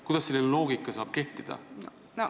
Kuidas selline loogika kehtida saab?